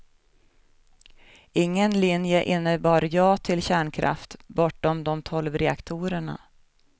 Ingen linje innebar ja till kärnkraft, bortom de tolv reaktorerna.